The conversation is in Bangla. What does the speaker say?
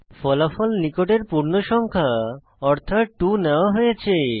ফলাফল নিকটের পূর্ণ সংখ্যা অর্থাৎ 2 নেওয়া হয়েছে